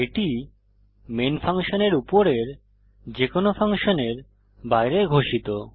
এটি মেন ফাংশনের উপরের যে কোনো ফাংশনের বাইরে ঘোষিত